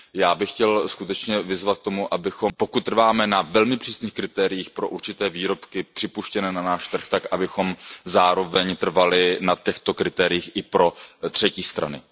Já bych chtěl skutečně vyzvat k tomu, pokud trváme na velmi přísných kritériích pro určité výrobky připuštěné na náš trh, tak abychom zároveň trvali na těchto kritériích i pro třetí strany.